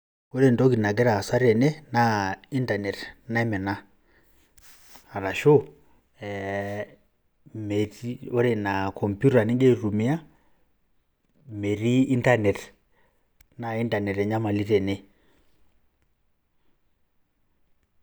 Ore entoki nagira aasa tene naa intanet naimina arashu ore ina komputa ning'ia aitumia metii intanet, naa intanet naimina tene.